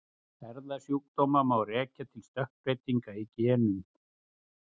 Erfðasjúkdóma má rekja til stökkbreytinga í genum.